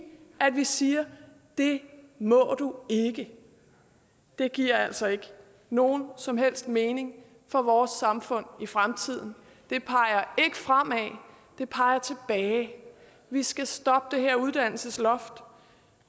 at vi siger det må du ikke det giver altså ikke nogen som helst mening for vores samfund i fremtiden det peger ikke fremad det peger tilbage vi skal stoppe det her uddannelsesloft